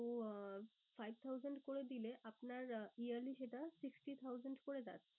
তো আহ five thousand করে দিলে আপনার yearly সেটা sixty thousand করে